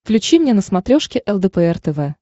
включи мне на смотрешке лдпр тв